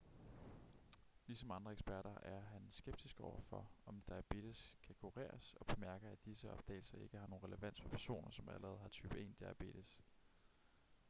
ligesom andre eksperter er han skeptisk over for om diabetes kan kureres og bemærker at disse opdagelser ikke har nogen relevans for personer som allerede har type 1 diabetes